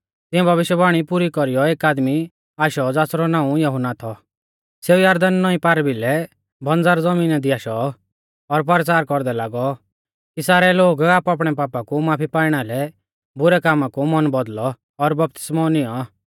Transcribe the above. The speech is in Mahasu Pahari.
तिऐं भविष्यवाणी पुरी कौरीयौ एक आदमी आशौ ज़ासरौ नाऊं यहुन्ना थौ सेऊ यरदन नौईं पारभिलै बंज़र ज़मीना दी आशौ और परचार कौरदै लागौ कि सारै लोग आपणैआपणै पापा कु माफी पाइणा लै बुरै कामा कु मन बौदल़ौ और बपतिस्मौ निऔं